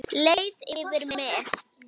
Leið yfir mig?